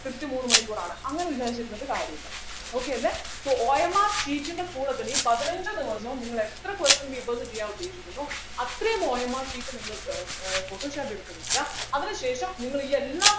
കൃത്യം മൂന്നു മണിക്കൂറാണ് അങ്ങനെ വിചാരിച്ചിരുന്നിട്ട് കാര്യമില്ല okay അല്ലെ soOMRsheet ൻ്റെ കൂടെ തന്നെ ഈ പതിനഞ്ചു ദിവസവും നിങ്ങൾ എത്ര question papers ചെയ്യാൻ ഉദ്ദേശിക്കുന്നു അത്രയും OMR sheet നിങ്ങൾ ഏർ ഏർ photostat എടുത്ത് വയ്ക്കുക അതിനുശേഷം നിങ്ങളി എല്ലാ